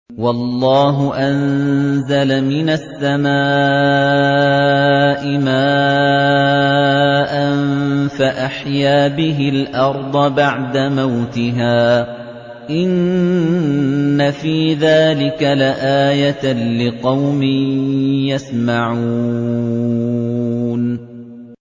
وَاللَّهُ أَنزَلَ مِنَ السَّمَاءِ مَاءً فَأَحْيَا بِهِ الْأَرْضَ بَعْدَ مَوْتِهَا ۚ إِنَّ فِي ذَٰلِكَ لَآيَةً لِّقَوْمٍ يَسْمَعُونَ